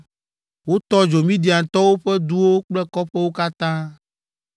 Wotɔ dzo Midiantɔwo ƒe duwo kple kɔƒewo katã,